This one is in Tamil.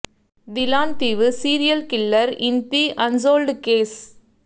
தி லான் தீவு serial killer in the unsolved case